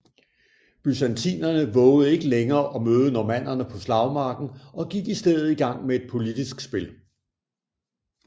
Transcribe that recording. Byzantinerne vovede ikke længere at møde normannerne på slagmarken og gik i stedet i gang med et politisk spil